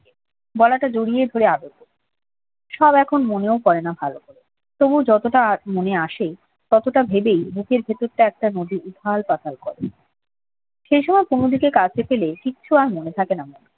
গলাটা জড়িয়ে ধরে আদর করতো সব এখন মনেও পড়ে না ভালো করে। তবু যতটা মনে আসে ততটা ভেবে মনের ভেতরটা একটা নদীর উথাল পাথাল করে সেই সময় কুমুদিকে কাছে পেলে কিচ্ছু আর যেন মনে থাকে না মৌরীর